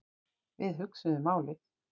Við hugsuðum málin.